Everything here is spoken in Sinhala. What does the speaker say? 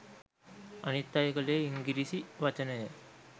අනිත් අය කලේ ඉංගිරිසි වචනය